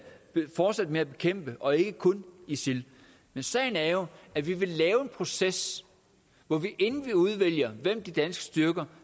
fortsætte med at bekæmpe og ikke kun isil sagen er jo at vi vil lave en proces hvor vi inden vi udvælger hvem de danske styrker